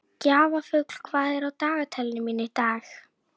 Gjaflaug, hvað er á dagatalinu mínu í dag?